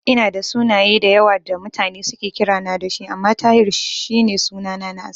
Ina da sunaye da yawa da mutane suke kirana da shi, amma Tahir shi ne sunana na asali.